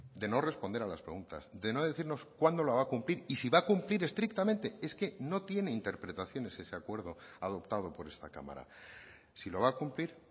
de no responder a las preguntas de no decirnos cuándo lo va a cumplir y si va a cumplir estrictamente es que no tiene interpretaciones ese acuerdo adoptado por esta cámara si lo va a cumplir